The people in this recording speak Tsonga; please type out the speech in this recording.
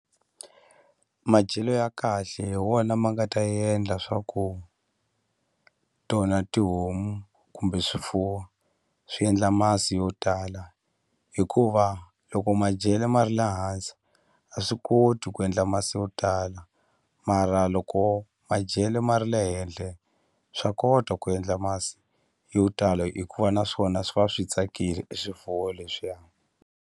Madyelo ya kahle hi wona ma nga ta endla swa ku tona tihomu kumbe swifuwo swi endla masi yo tala hikuva loko madyelo ma ri le hansi a swi koti ku endla masi yo tala mara loko madyele ma ri le henhle swa kota ku endla masi yo tala hikuva na swona swi va swi tsakile e swifuwo leswiya.